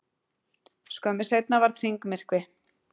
skömmu seinna varð hringmyrkvi